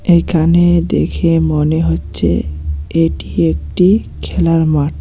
এইখানে দেখে মনে হচ্ছে এটি একটি খেলার মাঠ।